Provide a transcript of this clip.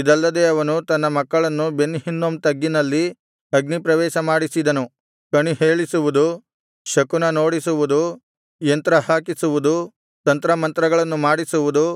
ಇದಲ್ಲದೆ ಅವನು ತನ್ನ ಮಕ್ಕಳನ್ನು ಬೆನ್ ಹಿನ್ನೋಮ್ ತಗ್ಗಿನಲ್ಲಿ ಅಗ್ನಿಪ್ರವೇಶ ಮಾಡಿಸಿದನು ಕಣಿಹೇಳಿಸುವುದು ಶಕುನನೋಡಿಸುವುದು ಯಂತ್ರಹಾಕಿಸುವುದು ತಂತ್ರಮಂತ್ರಗಳನ್ನು ಮಾಡಿಸುವುದು